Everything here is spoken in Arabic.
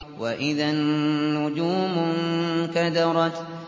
وَإِذَا النُّجُومُ انكَدَرَتْ